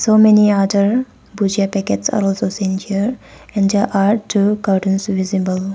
So many other bhujiya packets are also seen here and there are two cartons visible.